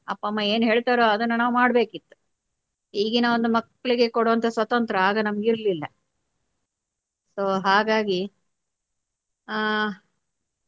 ಅಪ್ಪ ಅಮ್ಮ ಏನ್ ಹೇಳ್ತರೋ ಅದನ್ನ ನಾವು ಮಾಡ್ಬೇಕಿತ್ತು ಈಗಿನ ಒಂದು ಮಕ್ಕಳಿಗೆ ಕೊಡುವಂತ ಸ್ವತಂತ್ರ ಆಗ ನಮ್ಗಿರ್ಲಿಲ್ಲ so ಹಾಗಾಗಿ ಹ.